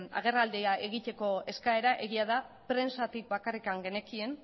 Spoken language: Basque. agerraldia egiteko eskaera egia da prentsatik bakarrik genekien